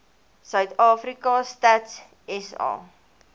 suidafrika stats sa